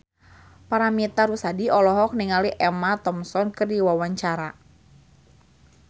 Paramitha Rusady olohok ningali Emma Thompson keur diwawancara